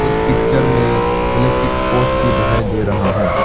इस पिक्चर में electric poles भी दिखाई दे रहा है।